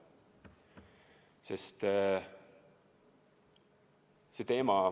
See teema ...